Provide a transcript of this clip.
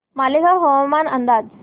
मालेगाव हवामान अंदाज